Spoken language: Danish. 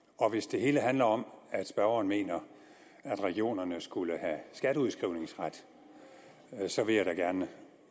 og hvis det hele handler om at spørgeren mener at regionerne skulle have skatteudskrivningsret så vil jeg da gerne